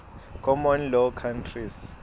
common law countries